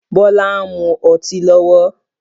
Bọlá ń mú ọtí lọ́wọ́